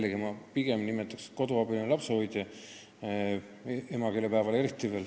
Aga ma pigem nimetaksin teda lapsehoidjaks-koduabiliseks, emakeelepäeval eriti.